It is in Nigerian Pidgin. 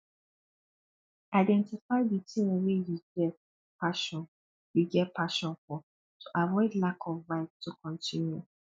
identify di thing wey you get passion you get passion for to avoid lack of vibe to continue